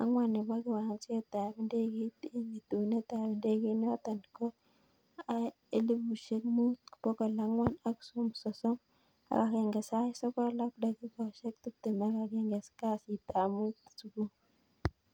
ang'wan nebo kiwanjet ab ndegeit en itunet ab ndegeit noton ko aa elipushek muut bokol ang'wan ak sosom ak aenge sait sogol ak dakikoshek tiptem ak aenge kasit ab muut subui